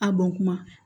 A bɔn kuma